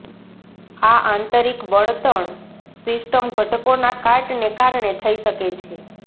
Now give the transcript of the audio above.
આ આંતરિક બળતણ સિસ્ટમ ઘટકોના કાટને કારણે થઇ શકે છે